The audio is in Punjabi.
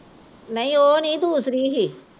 ਨਹੀਂ ਓਹ ਨੀ ਦੂਸਰੀ ਸੀ